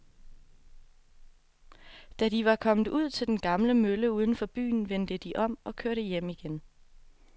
Da de var kommet ud til den gamle mølle uden for byen, vendte de om og kørte hjem igen.